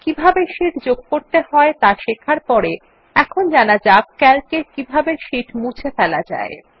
কিভাবে শীট যোগ করতে হয় ত়া শেখার পর এখন জানা যাক Calc এ কিভাবে শীট মুছে ফেলা যায়